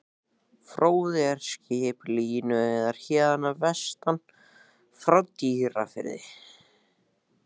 Fróði er skip, línuveiðari héðan að vestan, frá Dýrafirði.